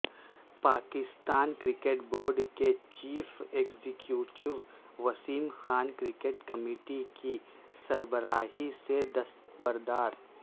Pakistan cricket board کے chief executive Wasim Khan cricket committee کی سربراہی سے دستبردار